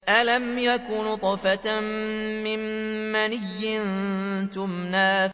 أَلَمْ يَكُ نُطْفَةً مِّن مَّنِيٍّ يُمْنَىٰ